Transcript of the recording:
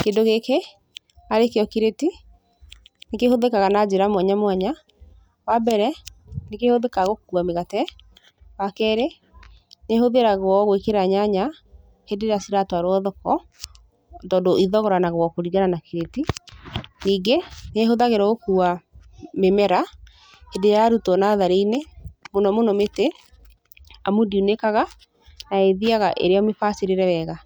Kĩndũ gĩkĩ arĩ kĩo kireti nĩ kĩhũthĩkaga na njĩra mwanya mwanya, wa mbere, nĩ kĩhũthĩkaga gũkua mĩgate, wa kerĩ, nĩ hũthagĩrwo gwĩkĩra nyanya hĩndĩ ĩrĩa ciratwarwo thoko, tondũ ithogoranagwo kũringana na kireti, ningĩ, nĩ hũthagĩrwo gũkua mĩmera, hĩndĩ ĩrĩa yarutwo natharĩ-inĩ, mũno mũno mĩtĩ, amu ndiunĩkaga na ĩthiaga ĩrĩ o mĩbacĩrĩre wega.